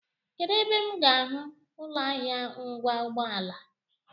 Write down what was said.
Kedụ ebe m ga-ahụ ụlọahịa ngwa ụgbọala?